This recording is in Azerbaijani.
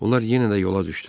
Onlar yenə də yola düşdülər.